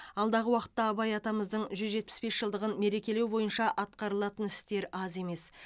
алдағы уақытта абай атамыздың жүз жетпіс бес жылдығын мерекелеу бойынша атқарылатын істер аз емес